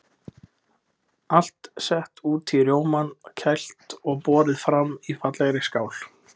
Allt sett út í rjómann, kælt og borið fram í fallegri skál.